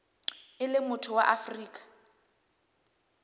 e leng motho wa afrika